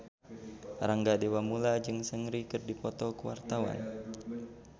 Rangga Dewamoela jeung Seungri keur dipoto ku wartawan